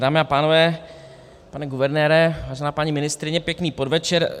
Dámy a pánové, pane guvernére, vážená paní ministryně, pěkný podvečer.